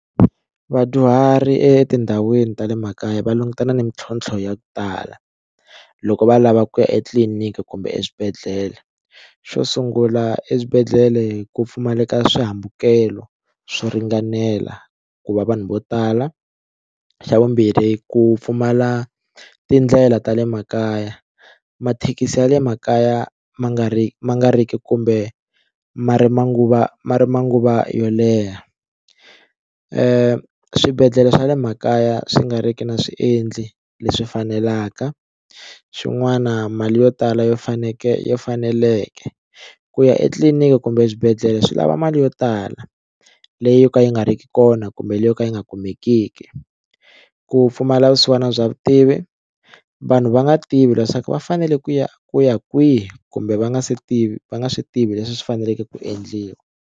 Vadyuhari etindhawini ta le makaya va langutana ni mitlhontlho ya ku tala loko va lava ku ya etliliniki kumbe eswibedhlele, xo sungula eswibedhlele ku pfumaleka swihambukelo swo ringanela ku va vanhu vo tala xa vumbirhi ku pfumala tindlela ta le makaya mathekisi ya le makaya ma nga ri ma nga ri ki kumbe ma ri manguva ma ri manguva yo leha swibedhlele swa le makaya swi nga ri ki na swiendli leswi fanelaka swin'wana mali yo tala yo faneke faneleke ku ya etliliniki kumbe eswibedhlele swi lava mali yo tala leyi yo ka yi nga ri ki kona kumbe leyi yo ka yi nga kumekiki ku pfumala vusiwana bya vutivi vanhu va nga tivi leswaku va fanele ku ya ku ya kwihi kumbe va nga swi tivi va nga swi tivi leswi swi faneleke ku endliwa.